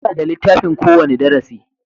Muna da littafin ko wani darasi